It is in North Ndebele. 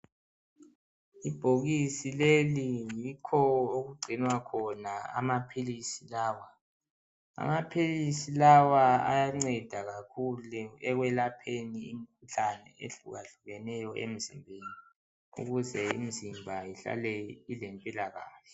Ibhokisi leli yikho okuggcinwa khona amaphilisi lawa amaphilisi lawa ayanceda kakhulu ekwelapheni imkhuhlani ehlukahlukeneyo emzimbeni ukuze imzimba ihlale ilempilakahle.